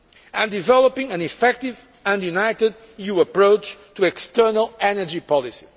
and developing an effective and united new approach to external energy